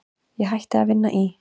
Ég hætti að vinna í